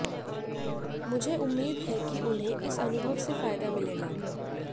मुझे उम्मीद है कि उन्हें इस अनुभव से फायदा मिलेगा